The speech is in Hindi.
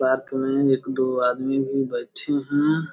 पार्क में एक दो आदमी भी बैठी हैं।